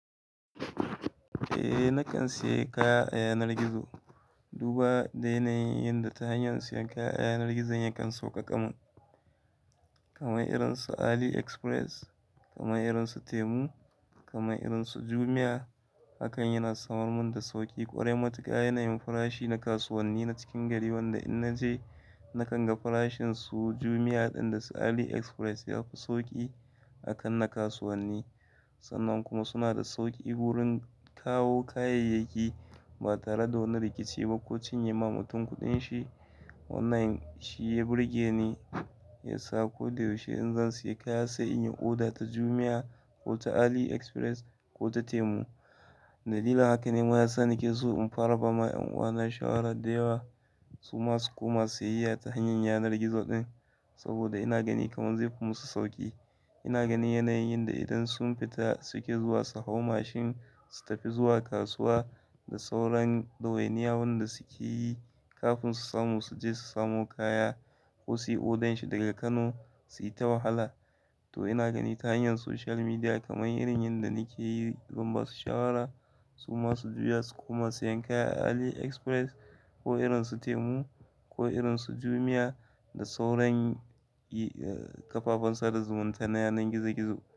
Eh, na kan sayi kaya a yanar gizo. Duba da yanayin yanda ta hanyar sayan kaya a yanar gizo ya kan sauƙaƙa mun. Kamar irin su AliExpress, kamar irin su Temu, kamar irin su Jumia. Hakan yana samar mun da sauƙi ƙwarai. Matuƙa yanayin farashi na kasuwanni na cikin gari wanda in na je na kan ga farashin su Jumia ɗin da su AliExpress ya fi sauƙi akan na kasuwanni. Sannan kuma suna da sauƙi wurin kawo kayayyaki ba tare da wani rikici ba ko cinye ma mutum kuɗin shi. Online shi ya burge ni, ya sa ko da yaushe in zan sayi kaya sai in yi oda ta Jumia ko ta AliExpress ko ta Temu. Dalilin haka ne ma ya sa na ke so in fara ba ma ƴan uwa na shawara da yawa su ma su koma siyayya ta hanyar yanar gizo ɗin saboda ina gani kamar zai fi musu sauƙi. Ina gani yanayin yanda idan sun fita suke zuwa su hau mashin su tafi zuwa kasuwa da sauran ɗawainiya wanda suke yi kafin su samu su je su samo kaya ko su yi odan shi daga Kano, su yi ta wahala. To ina gani ta hanyar social media kamar irin yanda ni ke yi, don ba su shawara su masu juya su koma sayen kaya a AliExpress ko irin su Temu ko irin su Jumia da sauran, eh, kafafen sada zumunta na yanar gizo gizo.